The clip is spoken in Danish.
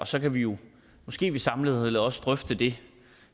så kan vi jo måske samlet også drøfte det